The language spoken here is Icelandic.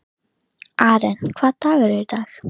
Mun Samfylkingin beita sér fyrir hækkun launa í stéttinni?